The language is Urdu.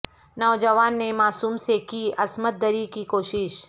نوجوان نے معصوم سے کی عصمت د ری کی کوشش